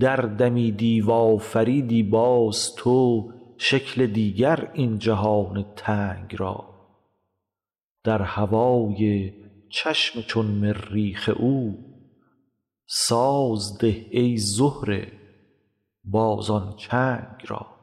دردمیدی و آفریدی باز تو شکل دیگر این جهان تنگ را در هوای چشم چون مریخ او ساز ده ای زهره باز آن چنگ را